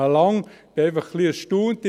Ich bin einfach ein wenig erstaunt.